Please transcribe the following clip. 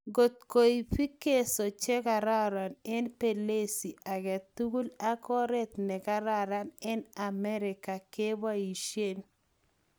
Kot koip vigezo chekaran en pelezi agetigul, ak oret ne karan en amerika kopaishen